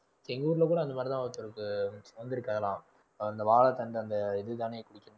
எங்க ஊர்ல கூட அந்த மாதிரிதான் ஒருத்தருக்கு வந்திருக்காராம் அந்த வாழைத்தண்டு அந்த இதுதானே குடிக்கணும்